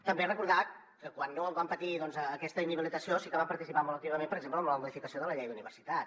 també recordar que quan no vam patir aquesta inhabilitació sí que vam participar molt activament per exemple en la modificació de la llei d’universitats